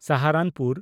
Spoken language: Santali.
ᱥᱟᱦᱟᱨᱟᱱᱯᱩᱨ